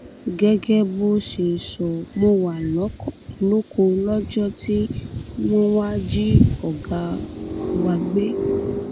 gẹgẹ bó ṣe sọ mo wà lóko lọjọ tí wọn wàá jí ọgá wa gbé